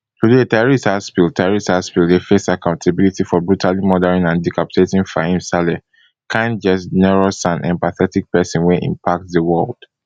today tyrese haspil tyrese haspil dey face accountability for brutally murdering and decapitating fahim saleh kind generous and empathetic person wey impact di world